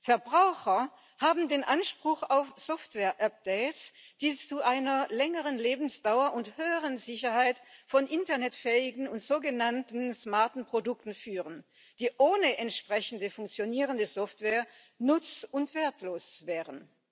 Verbraucher haben den Anspruch auf Softwareupdates, die zu einer längeren Lebensdauer und höheren Sicherheit von internetfähigen und sogenannten smarten Produkten führen, die ohne entsprechende funktionierende Software nutz und wertlos wären.